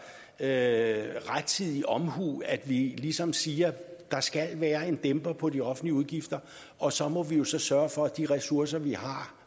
det altså rettidig omhu at vi ligesom siger at der skal være en dæmper på de offentlige udgifter og så må vi jo sørge for at de ressourcer man har